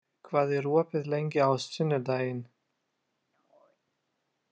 Geiri, hvað er opið lengi á sunnudaginn?